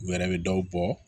U yɛrɛ bɛ dɔw bɔ